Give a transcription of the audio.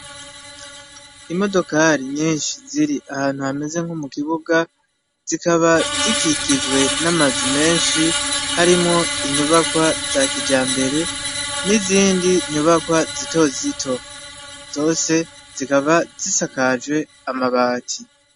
Imodokali nyinshi ziri ahantu hameze nko mu kibuga zikaba zikikijwe n'amazu menshi harimo inyubakwa za kija mbere n'izindi nyubakwa zito zito zose zikaba zisakajwe amabati.